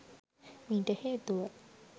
මීට හේතුව